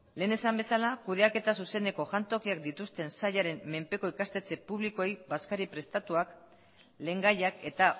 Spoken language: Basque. lehen esan bezala kudeaketa zuzeneko jantokiak dituzten sailaren menpeko ikastetxe publikoei bazkari prestatuak lehengaiak eta